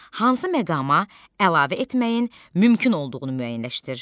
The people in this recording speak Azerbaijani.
Hansı məqama əlavə etməyin mümkün olduğunu müəyyənləşdir.